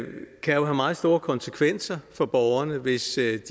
have meget store konsekvenser for borgerne hvis